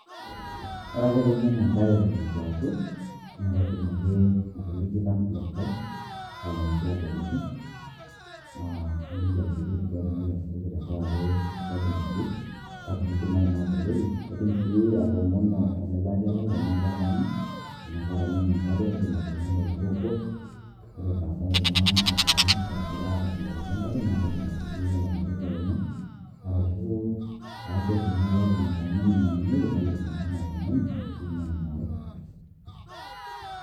Ore ake peimin enkare eton eitu aoku, naidim ake atoliki landlord lai mainyaki aboloki. Ah naliki ajoki eitu duo atumoki atooku tenkaraki sababu naje, na teneidimayu naboloki. Aidim si atomono olelatia lai tenaa ketaana, ena keeta ninye enkare, aidim atoomono oltoo obo, ore badaye naa atobolokoki enkare, na kaidim atushukoki olang'ole too lenye, arashu akwet enaa keeta enetaana nainyang'unyekie, naidim ashomo atoomonu ashu ainyang'u inaare.